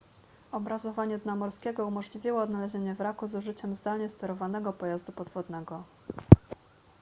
obrazowanie dna morskiego umożliwiło odnalezienie wraku z użyciem zdalnie sterowanego pojazdu podwodnego